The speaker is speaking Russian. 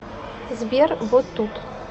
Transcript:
сбер вот тут